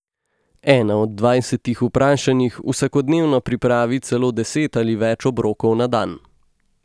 Ena od dvajsetih vprašanih vsakodnevno pripravi celo deset ali več obrokov na dan.